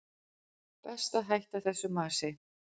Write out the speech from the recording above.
Best að hætta þessu masi.